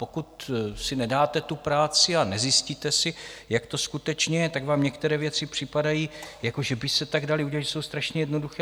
Pokud si nedáte tu práci a nezjistíte si, jak to skutečně je, tak vám některé věci připadají, že by se tak daly udělat, že jsou strašně jednoduché.